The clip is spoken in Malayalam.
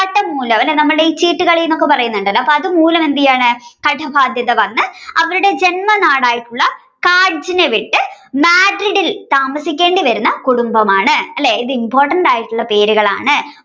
മൂലം നമ്മുടെ ഈ ചീട്ടുകളി എന്നൊക്കെ പറയുന്നുണ്ടല്ലോ അപ്പോ അതുമൂലം എന്ത് ചെയ്യുകയാണ്ടെ കടബാധ്യത വന്ന് അവരുടെ ജന്മനായിട്ടുള്ള കാഡ്ജിന വിട്ടു മാഡ്രിഡിൽ താമസിക്കേണ്ടി വരുന്ന കുടുംബമാണ് അല്ലേ ഇത് important ആയിട്ടുള്ള പേരുകളാണ്